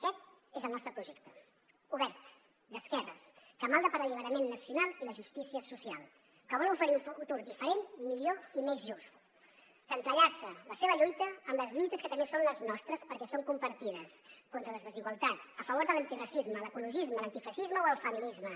aquest és el nostre projecte obert d’esquerres que malda per l’alliberament nacional i la justícia social que vol oferir un futur diferent millor i més just que entrellaça la seva lluita amb les lluites que també són les nostres perquè són compartides contra les desigualtats a favor de l’antiracisme l’ecologisme l’antifeixisme o el feminisme